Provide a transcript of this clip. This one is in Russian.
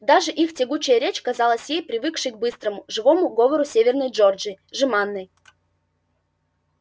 даже их тягучая речь казалась ей привыкшей к быстрому живому говору северной джорджии жеманной